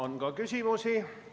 On ka küsimusi.